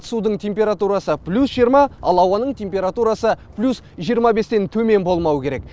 судың температурасы плюс жиырма ал ауаның температурасы плюс жиырма бестен төмен болмауы керек